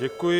Děkuji.